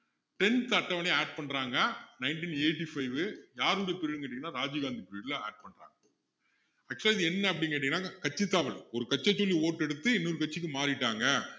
tenth அட்டவணைய add பண்றாங்க nineteen eighty-five யாருடைய period ன்னு கேட்டிங்கன்னா ராஜிவ் காந்தி period ல add பண்றாங்க actual ஆ இது என்ன அப்படின்னு கேட்டிங்கன்னா கட்சித்தாவல் ஒரு கட்சிய சொல்லி vote எடுத்து இன்னொரு கட்சிக்கு மாறிட்டாங்க